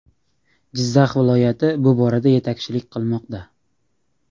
Jizzax viloyati bu borada yetakchilik qilmoqda.